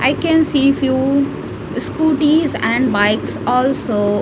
i can see few scooties and bikes also .